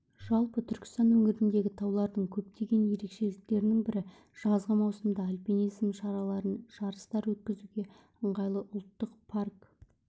жалпы түркістан өңіріндегі таулардың көптеген ерекшеліктерінің бірі жазғы маусымда альпинизм шараларын жарыстар өткізуге ыңғайлы ұлттық парк